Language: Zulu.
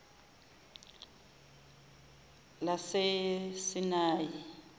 lasesinayi